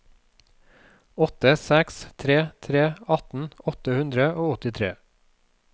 åtte seks tre tre atten åtte hundre og åttitre